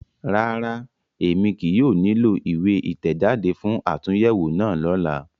Rárá, Emi kii yóò nilo iwe itẹjade fun atunyẹwo náa lọla